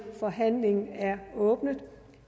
forhandlingen er åbnet